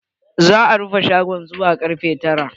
Za a rufe shagon zuwa karfe tara.